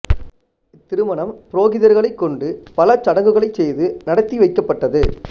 இத்திருமணம் புரோகிதர்களைக் கொண்டு பல சடங்குகளைச் செய்து நடத்தி வைக்கப்பட்டது